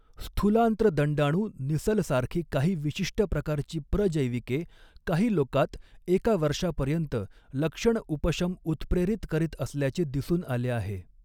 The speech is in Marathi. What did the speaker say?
स्थूलांत्र दंडाणू निसलसारखी काही विशिष्ट प्रकारची प्रजैविके, काही लोकात एका वर्षापर्यंत लक्षण उपशम उत्प्रेरित करीत असल्याचे दिसून आले आहे.